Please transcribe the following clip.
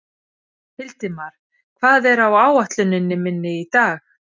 Hildimar, hvað er á áætluninni minni í dag?